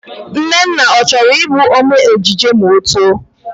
Nnanna, ọ chọrọ Ị bụ ome ejije ma ọ too?